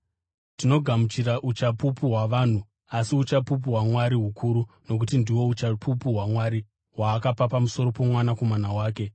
Tinogamuchira uchapupu hwavanhu, asi uchapupu hwaMwari hukuru nokuti ndihwo uchapupu hwaMwari, hwaakapa pamusoro poMwanakomana wake.